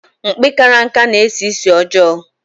Mkpi karaka na-esi ísì ọjọọ.